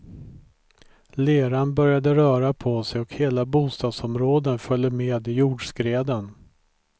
Leran började röra på sig och hela bostadsområden följde med i jordskreden.